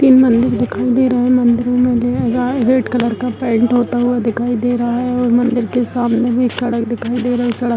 तीन मंदिर दिखाई दे रहा है | मंदिर में रेड कलर का पेंट होता हुआ दिखाई दे रहा है और मंदिर के सामने भी सड़क दिखाई दे रहे सड़क --